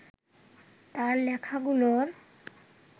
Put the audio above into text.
তাঁর লেখাগুলোর